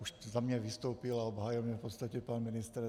Už za mě vystoupil a obhájil mě v podstatě pan ministr.